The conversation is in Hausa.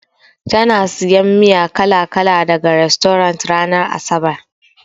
Tana sayan miya kala-kala daga rastorant ranar asabar.